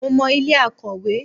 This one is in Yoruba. Mo mọ ilé Akòwé.